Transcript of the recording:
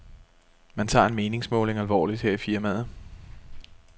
Man tager en meningsmåling alvorligt her i firmaet.